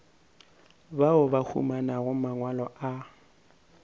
bao ba humanago mangwalo a